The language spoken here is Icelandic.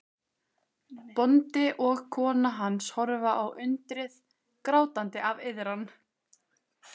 Bóndi og kona hans horfa á undrið, grátandi af iðran.